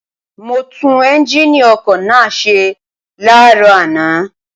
mo tú́n ẹ́ńgíìnì ọkọ̀ náà ṣe láàárọ̀ àná